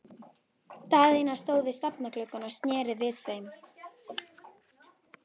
Daðína stóð við stafngluggann og sneri við þeim baki.